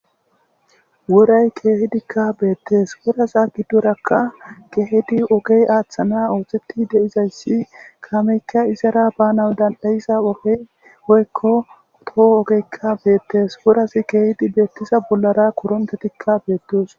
woray keehidikka beettes woraza giddorakka keehidi ogey aaththana ooththetti de7izayssi kaameyka izara bana dandayiza ogeoykko toho ogeykka beettes wuraz keehdi beettiza bollara korontetikka beettos